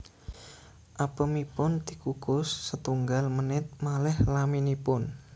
Apemipun dikukus setunggal menit malih laminipun